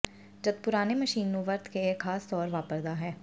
ਜਦ ਪੁਰਾਣੇ ਮਸ਼ੀਨ ਨੂੰ ਵਰਤ ਕੇ ਇਹ ਖਾਸ ਤੌਰ ਵਾਪਰਦਾ ਹੈ